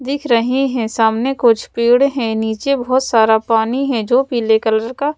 दिख रहे हैं सामने कुछ पेड़ हैं नीचे बहुत सारा पानी है जो पीले कलर का--